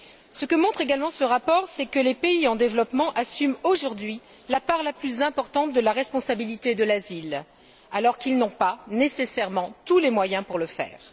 Ce que montre également ce rapport, c'est que les pays en développement assument aujourd'hui la part la plus importante de la responsabilité de l'asile, alors qu'ils n'ont pas nécessairement tous les moyens pour le faire.